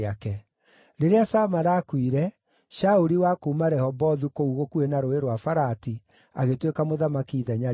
Rĩrĩa Samala aakuire, Shauli wa kuuma Rehobothu kũu gũkuhĩ na Rũũĩ rwa Farati, agĩtuĩka mũthamaki ithenya rĩake.